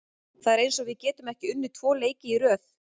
Það er eins og við getum ekki unnið tvo leiki í röð.